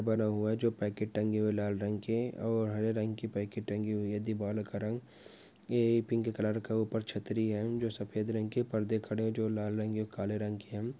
बना हुआ हे जो पैकेट टांगे हुए लाल रंग के और हारे रंगके पेकेट टंगी हुई हे दीवाल का रंग ये पिंक कलार का उपार छतरी हे जो सफेद रंगके पर्दे खरे हे जो लाल ओ काले रंग के हे।